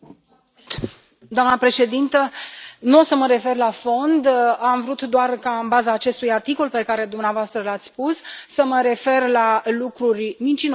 Doamnă președintă, nu am să mă refer la fond, am vrut doar ca, în baza acestui articol pe care dumneavoastră l ați spus, să mă refer la lucruri mincinoase spuse.